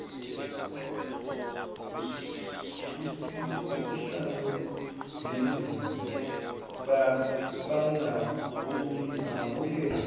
osihlalo bendlu bangabuye